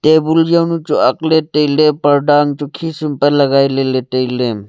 tabul jaw nu chu ak le taile parda ang chu khisum pe lagai le taile.